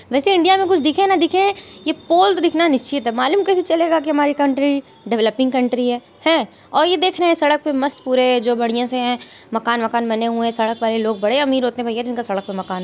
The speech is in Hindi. वैसे इंडिया में कुछ दिखे न दिखे ये पोल तो दिखना निश्चित है मालूम कैसे चलेगा की हमारी कंट्री डेवलपिंग कंट्री है। हैं और ये देखना सड़क पे मस्त पूरे जो बढ़िया से हैं मकान वकान बने हुए हैं | सड़क वाले लोग बड़े अमीर होते हैं भैया जिनका सड़क पे मकान--